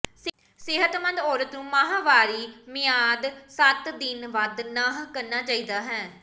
ਸਿਹਤਮੰਦ ਔਰਤ ਨੂੰ ਮਾਹਵਾਰੀ ਮਿਆਦ ਸੱਤ ਦਿਨ ਵੱਧ ਨਹ ਕਰਨਾ ਚਾਹੀਦਾ ਹੈ